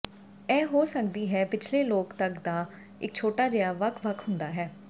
ਇਹ ਹੋ ਸਕਦੀ ਹੈ ਪਿਛਲੇ ਲੋਕ ਤੱਕ ਦਾ ਇੱਕ ਛੋਟਾ ਜਿਹਾ ਵੱਖ ਵੱਖ ਹੁੰਦਾ ਹੈ